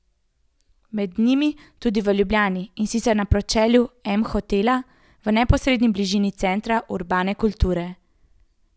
Med njimi tudi v Ljubljani, in sicer na pročelju M Hotela, v neposredni bližini centra urbane kulture.